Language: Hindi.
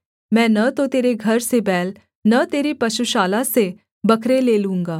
मैं न तो तेरे घर से बैल न तेरे पशुशाला से बकरे ले लूँगा